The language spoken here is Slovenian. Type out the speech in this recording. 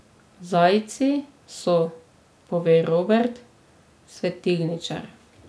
Zajci so, pove Robert, svetilničar.